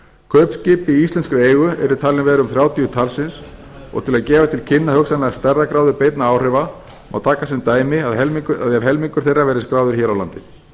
kaupskip í íslenskri eigu eru talin vera um þrjátíu talsins og til að gefa til kynna hugsanlega stærðargráðu beinna áhrifa má taka sem dæmi að helmingur þeirra verði skráður hér á landi